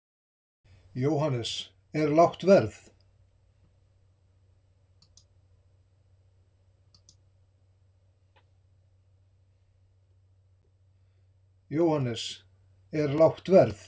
Jóhannes: Er lágt verð?